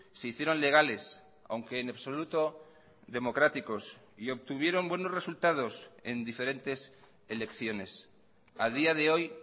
se hicieron legales aunque en absoluto democráticos y obtuvieron buenos resultados en diferentes elecciones a día de hoy